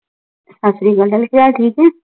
ਸਸਰਿਆਕਲ ਗੱਲ ਤਾਂ ਠੀਕ ਹੈ